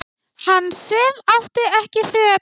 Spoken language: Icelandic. Hann sem átti ekki föt